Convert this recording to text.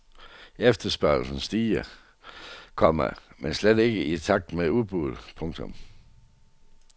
Efterspørgslen stiger noget, komma men slet ikke i takt med udbuddet. punktum